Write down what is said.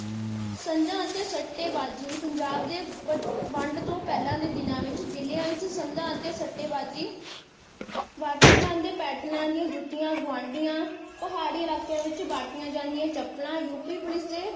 ਸੰਧਾ ਅਤੇ ਸੱਟੇਬਾਜ਼ੀ ਪੰਜਾਬ ਦੀ ਵੰਢ ਤੋਂ ਪਹਿਲਾਂ ਦੇ ਦਿਨਾਂ ਵਿਚ ਜਿਲਿਆਂ ਵਿਚ ਸੰਧਾ ਅਤੇ ਸੱਟੇਬਾਜ਼ੀ ਵਰਤੇ ਜਾਂਦੀ ਪੈਟਰਣਾ ਦੀਆਂ ਜੁੱਤੀਆਂ ਗੁਆਂਢੀਆਂ ਪਹਾੜੀ ਇਲਾਕਿਆਂ ਵਿਚ ਵਰਤੀਆਂ ਜਾਂਦੀਆਂ ਚੱਪਲਾਂ ਯੂ. ਪੀ. ਪੁਲਿਸ ਦੇ